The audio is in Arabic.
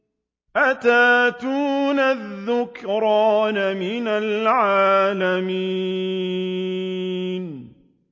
أَتَأْتُونَ الذُّكْرَانَ مِنَ الْعَالَمِينَ